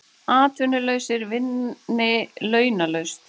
Atvinnulausir vinni launalaust